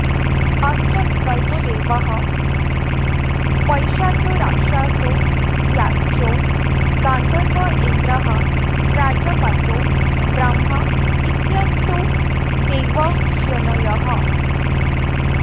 अष्टविकल्पो दैवः पैशाचो राक्षसो याक्षो गान्धर्व ऐन्द्रः प्राजापत्यो ब्राह्म इत्यष्टौ देवयोनयः